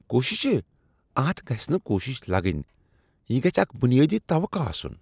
کوششہٕ؟ اتھ گژھ نہٕ کوشش لگٕنۍ۔ یہٕ گژھہٕ اکھ بنیٲدی توقع آسنۍ۔